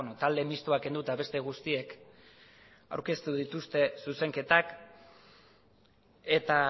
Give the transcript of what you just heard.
talde mistoak kenduta beste guztiek aurkeztu dituzte zuzenketak eta